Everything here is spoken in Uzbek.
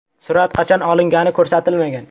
Surat qachon olingani ko‘rsatilmagan.